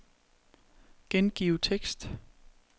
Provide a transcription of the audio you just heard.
Gengiv tekst.